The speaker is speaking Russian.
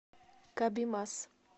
кабимас